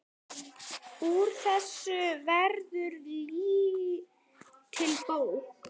Úr þessu verður lítil bók.